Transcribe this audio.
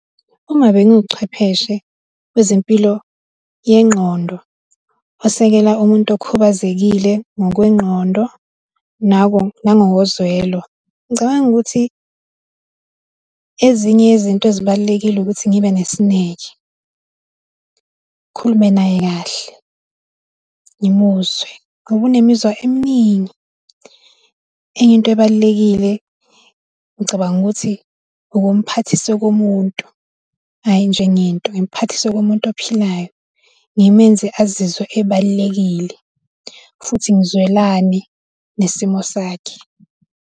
Uma benguchwepheshe wezempilo yengqondo osekela umuntu okhubazekile ngokwengqondo nangokozwelo. Ngicabanga ukuthi ezinye yezinto ezibalulekile ukuthi ngibe nesineke, ngikhulume naye kahle, ngimuzwe ngoba unemizwa eminingi. Enye into ebalulekile ngicabanga ukuthi ukumphathisa okomuntu hhayi njengento, ngimuphathise okomuntu ophilayo, Ngimenze azizwe ebalulekile, futhi ngizwelane nesimo sakhe.